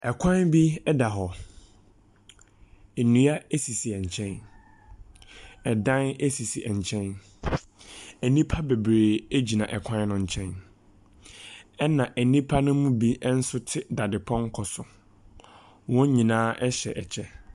Kwan bi da hɔ. Nnua sisi nkyɛn. Dan sisi nkyɛn. Nnipa bebree gyina kwan no nkyɛn, ɛnna nnipa no mu bi nso te dadepɔnkɔ so. Wɔn nyinaa hyɛ kyɛ.